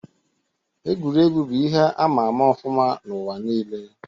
Egwuregwu bụ ihe ama ama ọfụma n'ụwa nile